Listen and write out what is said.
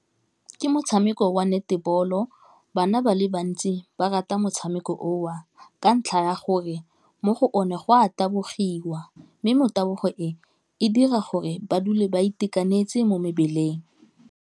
Ke motshameko wa netebolo, bana ba le bantsi ba rata motshameko o a ka ntlha ya gore mo go o ne go a tabogiwa mme motabogo e e dira gore ba dule ba itekanetse mo mebeleng.